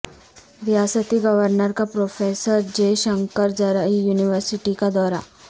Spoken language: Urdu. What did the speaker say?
ریاستی گورنر کا پروفیسر جئے شنکر زرعی یونیورسٹی کا دورہ